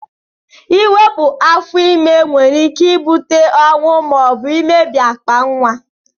Iwepu afọ ime nwere ike ibute ọnwụ ma obu mmebi akpa nwa.